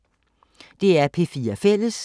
DR P4 Fælles